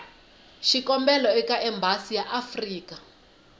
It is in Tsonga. xikombelo eka embasi ya afrika